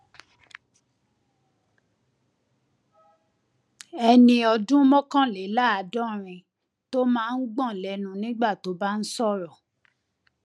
ẹni ọdún mọkànléláàádọrin tó máa ń gbọn lẹnu nígbà tó bá ń sọrọ